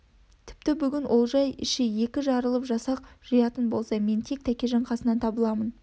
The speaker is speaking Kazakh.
тіпті бүгін олжай іші екі жарылып жасақ жиятын болса мен тек тәкежан қасынан табыламын